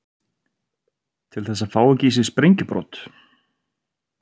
Til þess að fá ekki í sig sprengjubrot.